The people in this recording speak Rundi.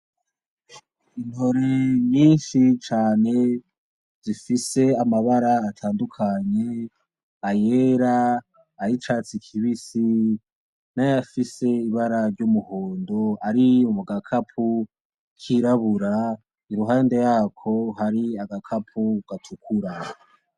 Intore nyinshi cane zifise amabara atandukanye; ayera; ay'icatsi kibisi; n'ayafise ibara ry'umuhundo ari mu gakapo kirabura, iruhande yako hari agakapo gatukura.